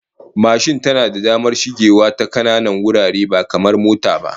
Mashin tana da damar shigewa ta kananan wurare ba kamar mota ba